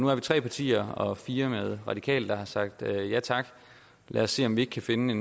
er vi tre partier og fire med radikale der har sagt ja tak lad os se om vi ikke kan finde